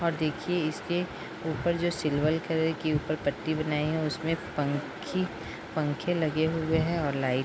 और देखिये इसके ऊपर जो सिल्वर कलर की ऊपर पट्टी बनाई है उसमे पंखी पंखे लगे हुए हैं और लाईट --